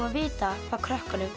að vita hvað krökkum